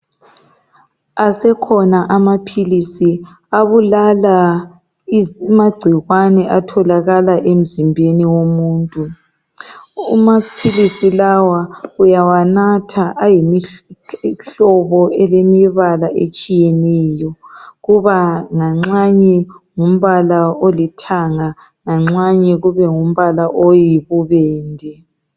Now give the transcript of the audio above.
Asekhona amaphilisi abulala amagcikwane atholakala emzimbeni womuntu. Amaphilisi lawa uyawanatha ayimihlobo elemibala etshiyeneyo kuba nganxanye ngumbala olithanga nganxanye kube ngumbala oyibubende.